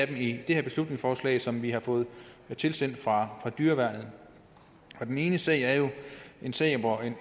det her beslutningsforslag som vi har fået tilsendt fra dyreværnet den ene sag er jo en sag hvor en